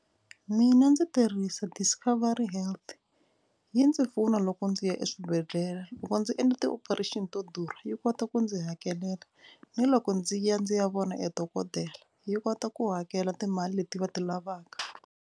Mina ndzi tirhisa discovery health yi ndzi pfuna loko ndzi ya eswibedhlele. Loko ndzi endle ti-operation to durha yi kota ku ndzi hakelela ni loko ndzi ya ndzi ya vona e dokodela yi kota ku hakela timali leti va ti lavaka.